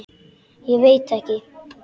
Ég veit ekki